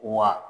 Wa